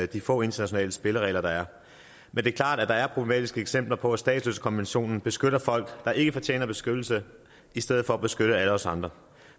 de få internationale spilleregler der er men det er klart at der er problematiske eksempler på at statsløsekonventionen beskytter folk der ikke fortjener beskyttelse i stedet for at beskytte alle os andre